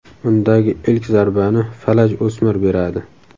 Undagi ilk zarbani falaj o‘smir beradi .